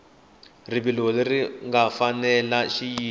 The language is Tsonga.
rivilo leri nga fanela xiyimo